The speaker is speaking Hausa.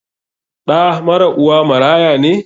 Ɗa mara uwa maraya ne?